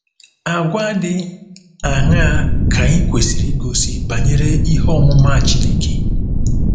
Àgwà dị aṅaa ka anyị kwesịrị igosi banyere ihe ọmụma Chineke?